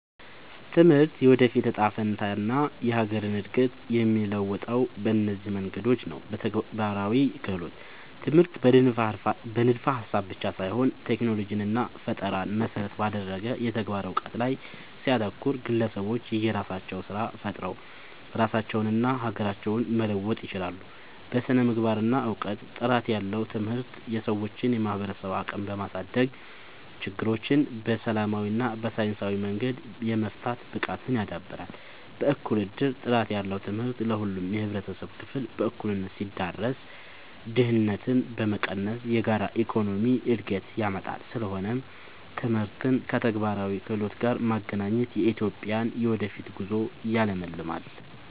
ትምህርት የወደፊት እጣ ፈንታንና የሀገርን እድገት የሚለውጠው በእነዚህ መንገዶች ነው፦ በተግባራዊ ክህሎት፦ ትምህርት በንድፈ-ሀሳብ ብቻ ሳይሆን ቴክኖሎጂንና ፈጠራን መሰረት ባደረገ የተግባር እውቀት ላይ ሲያተኩር፣ ግለሰቦች የራሳቸውን ስራ ፈጥረው ራሳቸውንና ሀገራቸውን መለወጥ ይችላሉ። በስነ-ምግባርና እውቀት፦ ጥራት ያለው ትምህርት የሰዎችን የማሰብ አቅም በማሳደግ፣ ችግሮችን በሰላማዊና በሳይንሳዊ መንገድ የመፍታት ብቃትን ያዳብራል። በእኩል እድል፦ ጥራት ያለው ትምህርት ለሁሉም የህብረተሰብ ክፍል በእኩልነት ሲዳረስ፣ ድህነትን በመቀነስ የጋራ የኢኮኖሚ እድገትን ያመጣል። ስለሆነም ትምህርትን ከተግባራዊ ክህሎት ጋር ማገናኘት የኢትዮጵያን የወደፊት ጉዞ ያለምልማል።